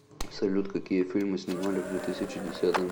салют какие фильмы снимали в две тысячи десятом